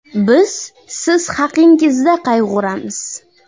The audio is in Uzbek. Biz siz haqingizda qayg‘uramiz!